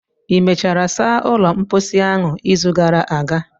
ị mechara saa ụlọ mposi a izu gara aga?